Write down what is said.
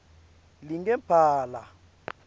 lingemphala